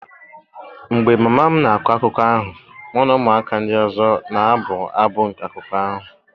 mgbe mama m na-akọ akụkọ ahụ, mụ na ụmụaka ndị ọzọ na-abụ abụ nke akụkọ ahụ.